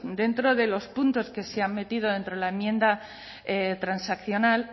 dentro de los puntos que se han metido dentro de la enmienda transaccional